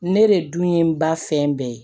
Ne de dun ye n ba fɛn bɛɛ ye